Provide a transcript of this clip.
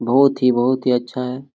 बहुत ही बहुत ही अच्छा हैं।